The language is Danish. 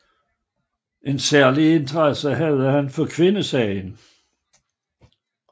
En særlig interesse havde han for kvindesagen